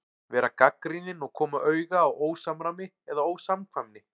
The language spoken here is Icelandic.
Vera gagnrýnin og koma auga á ósamræmi eða ósamkvæmni.